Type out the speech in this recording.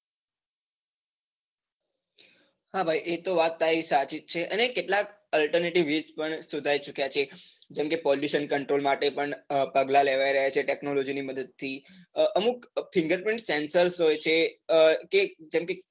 હા ભાઈ એ તો વાત તારી સાચી જ છે અને કેટલાક alternative પણ શોધાવી ચુક્યા છે કેમ કે pollution control માટે પણ પગલાં લેવાય રહ્યા છે technology ની મદદ થી, અમુક figure print censer હોય છે કે અ જેમ કે,